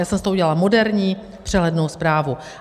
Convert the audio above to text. Já jsem z toho udělala moderní přehlednou zprávu.